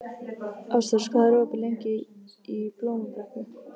Ástrós, hvað er opið lengi í Blómabrekku?